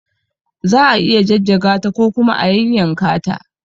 Za a iya jajjaga ta ko kuma a yayyanka ta.